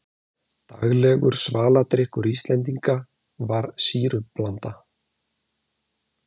daglegur svaladrykkur íslendinga var sýrublanda